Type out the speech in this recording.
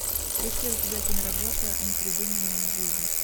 есть ли у тебя киноработа непридуманная жизнь